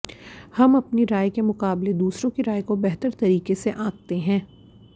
हम अपनी राय के मुकाबले दूसरों की राय को बेहतर तरीके से आंकते हैं